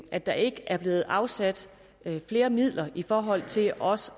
at der ikke er blevet afsat flere midler i forhold til også